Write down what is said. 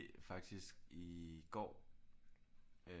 Faktisk i går øh